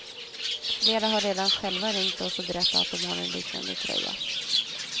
Flera har redan själva ringt oss och berättat att de har en liknande tröja.